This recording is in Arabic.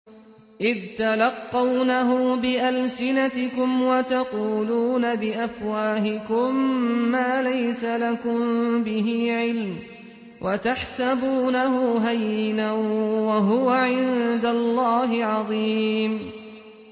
إِذْ تَلَقَّوْنَهُ بِأَلْسِنَتِكُمْ وَتَقُولُونَ بِأَفْوَاهِكُم مَّا لَيْسَ لَكُم بِهِ عِلْمٌ وَتَحْسَبُونَهُ هَيِّنًا وَهُوَ عِندَ اللَّهِ عَظِيمٌ